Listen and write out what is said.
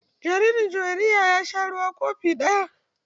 Jaririn Juwairiya ya sha ruwa kofi ɗaya.